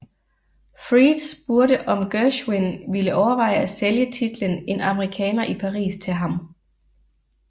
Freed spurgte om Gershwin ville overveje at sælge titelen En amerikaner i Paris til ham